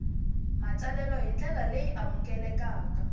matsalelo hi ndlela leyi amukelekaka